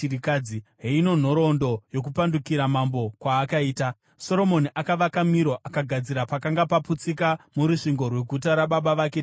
Heino nhoroondo yokupandukira mambo kwaakaita: Soromoni akavaka Miro, akagadzira pakanga paputsika murusvingo rweguta rababa vake Dhavhidhi.